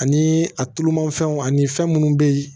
Ani a tulumanfɛnw ani fɛn munnu be yen